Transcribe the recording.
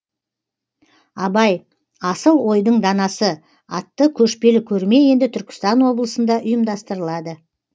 абай асыл ойдың данасы атты көшпелі көрме енді түркістан облысында ұйымдастырылады